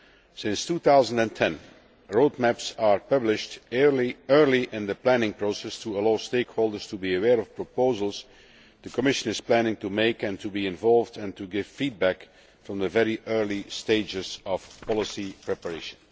Since 2010, roadmaps have been published early in the planning process to allow stakeholders to be aware of proposals that the Commission is planning to make, and to be involved and give feedback from the very earliest stages of policy preparation.